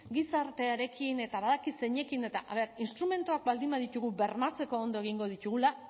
gizartearekin eta badakit zeinekin eta a ver instrumentuak baldin baditugu bermatzeko ondo egingo ditugula